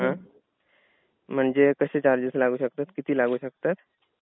हा. म्हणजे कसे चार्जेस लागू शकतात? किती लागू शकतात?